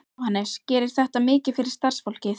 Jóhannes: Gerir þetta mikið fyrir starfsfólkið?